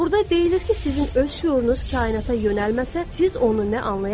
Burada deyilir ki, sizin öz şüurunuz kainata yönəlməsə, siz onu nə anlaya bilərsiz?